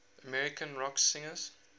american rock singers